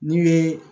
N'i ye